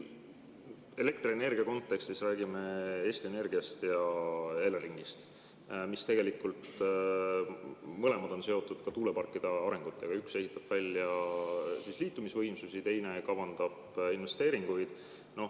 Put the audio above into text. Elektrienergia kontekstis räägime Eesti Energiast ja Eleringist, mis mõlemad on seotud ka tuuleparkide arengutega, üks ehitab välja liitumisvõimsusi, teine kavandab investeeringuid.